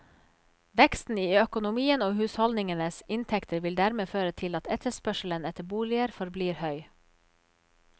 Veksten i økonomien og husholdningenes inntekter vil dermed føre til at etterspørselen etter boliger forblir høy.